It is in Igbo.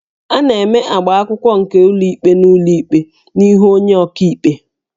A na-eme agbaakwụkwọ nke ụlọikpe n'ụlọikpe n'ihu onye ọkaikpe